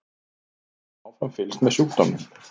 Við höfum áfram fylgst með sjúkdómnum.